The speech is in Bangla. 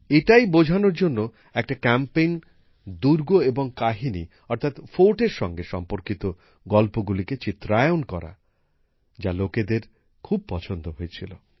এটাই বোঝানোর জন্য দুর্গ এবং কাহিনী অর্থাৎ ফোর্টের সঙ্গে সম্পর্কিত গল্পগুলিকে চিত্রায়ণ করার এক উদ্যোগ নেওয়া হয় যা সকলের খুব পছন্দ হয়েছিল